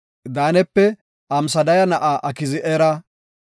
Daanape Amsadaya na7aa Aki7ezera;